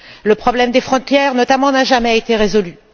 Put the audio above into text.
Le problème des frontières, notamment, n'a jamais été résolu.